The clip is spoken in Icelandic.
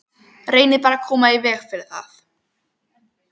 Reynið bara að koma í veg fyrir það.